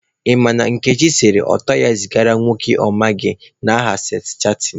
Ị makwa na Nkechi sere ọtọ ya zigara nwoke ọ na amaghị n'aha seks chatịn.